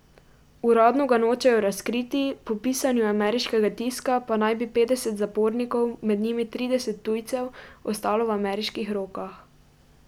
Uradno ga nočejo razkriti, po pisanju ameriškega tiska pa naj bi petdeset zapornikov, med njimi trideset tujcev, ostalo v ameriških rokah.